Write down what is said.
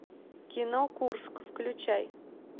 кино курск включай